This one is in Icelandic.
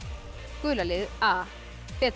gula liðið a